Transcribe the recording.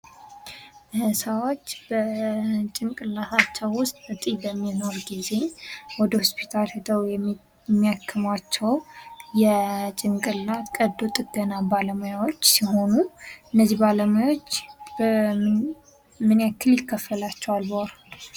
ሰዎች በጭንቅላታቸው ውስጥ እጢ በሚኖርበት ጊዜ ወደ ሆስፒታል ሂደው የሚያክሟቸው የጭንቅላት ቀዶ ጥገና ባለሙያዎች ሲሆኑ እነዚህ ባለሙያዎች ምን ያክል ይከፈላቸዋል በወር?